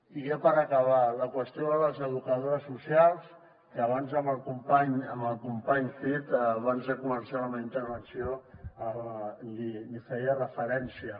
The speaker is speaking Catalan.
i ja per acabar la qüestió de les educadores socials que abans amb el company cid abans de començar la meva intervenció hi feia referència